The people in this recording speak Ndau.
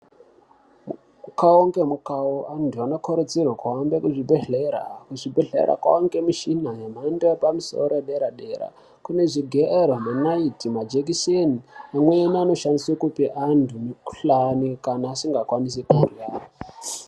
Mukhau ngemukhau antu anokurudzirwe kuhambe kuzvibhedhlera. Kuzvibhedhlera kwaangemushina yemhando yepamusoro-soro yedera-dera. Kune zvigero ,nenaiti, majekiseni . Amweni anoshandiswe kupe antu mikhuhlani ,kana asingakwanisi kurya.